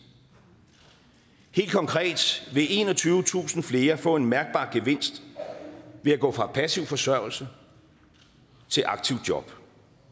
helt konkret vil enogtyvetusind flere få en mærkbar gevinst ved at gå fra passiv forsørgelse til aktivt job